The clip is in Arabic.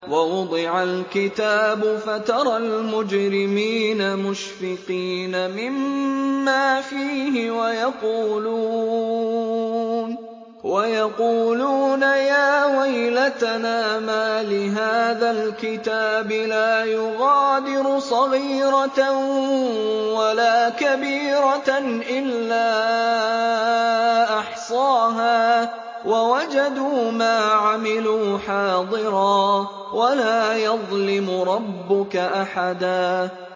وَوُضِعَ الْكِتَابُ فَتَرَى الْمُجْرِمِينَ مُشْفِقِينَ مِمَّا فِيهِ وَيَقُولُونَ يَا وَيْلَتَنَا مَالِ هَٰذَا الْكِتَابِ لَا يُغَادِرُ صَغِيرَةً وَلَا كَبِيرَةً إِلَّا أَحْصَاهَا ۚ وَوَجَدُوا مَا عَمِلُوا حَاضِرًا ۗ وَلَا يَظْلِمُ رَبُّكَ أَحَدًا